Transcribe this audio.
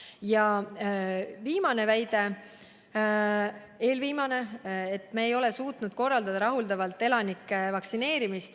Ja eelviimane väide: me ei ole suutnud rahuldavalt korraldada elanike vaktsineerimist.